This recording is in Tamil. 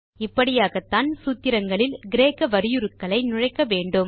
இப்படியாகத்தான் சூத்திரங்களில் கிரேக்க வரியுருக்களை நுழைக்க வேண்டும்